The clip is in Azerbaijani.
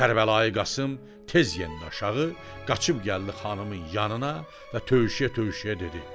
Kərbəlayı Qasım tez yendi aşağı, qaçıb gəldi xanımın yanına və tövşüyə-tövşüyə dedi: